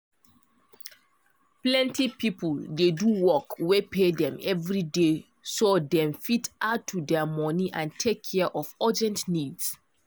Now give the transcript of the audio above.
plenty people dey do work wen dey pay them everyday so that them fit add to their money and take care of their urgent needs